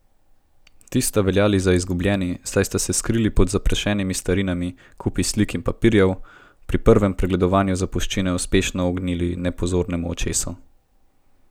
Ti sta veljali za izgubljeni, saj sta se skriti pod zaprašenimi starinami, kupi slik in papirjev, pri prvem pregledovanju zapuščine uspešno ognili nepozornemu očesu.